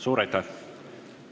Suur aitäh!